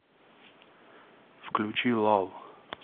включи лав